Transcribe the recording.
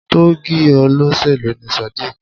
Tọ́ọ̀gì olóṣèlú ni Sadiq.